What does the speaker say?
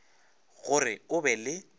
go re o be le